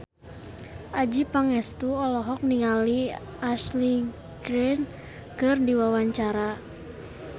Adjie Pangestu olohok ningali Ashley Greene keur diwawancara